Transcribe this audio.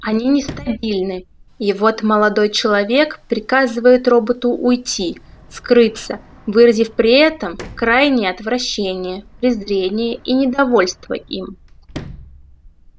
они нестабильны и вот молодой человек приказывает роботу уйти скрыться выразив при этом крайнее отвращение презрение и недовольство им